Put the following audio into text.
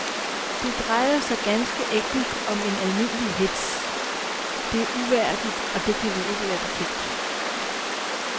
Det drejer sig ganske enkelt om en almindelig hetz, det er uværdigt, og det kan vi ikke være bekendt.